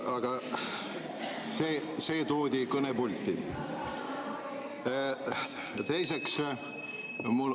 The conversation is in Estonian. Aga see toodi kõnepulti.